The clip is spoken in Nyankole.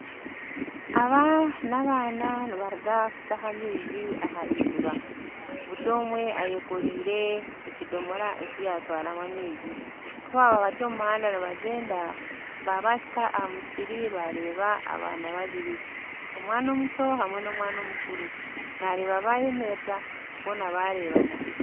Aba nabaana nibaruga kutaha amaizi aha iziba, buri omwe ayekoliire ekidomora eki yatwaramu amaizi kubaba bari omu muhanda nibagyenda babahika ahamusiri bareeba abaana babiri, omwana omuto n'omukuru nareeba bayemerera boona bareebana.